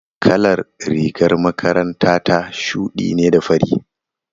Kalar rigar makaranta ta shuɗi ne da fari.